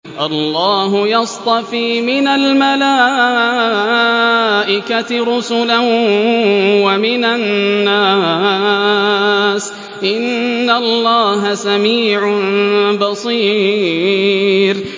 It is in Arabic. اللَّهُ يَصْطَفِي مِنَ الْمَلَائِكَةِ رُسُلًا وَمِنَ النَّاسِ ۚ إِنَّ اللَّهَ سَمِيعٌ بَصِيرٌ